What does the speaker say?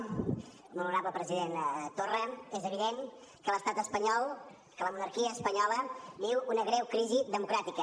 molt honorable president torra és evident que l’estat espanyol que la monarquia espanyola viu una greu crisi democràtica